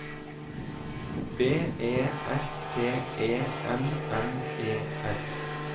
B E S T E M M E S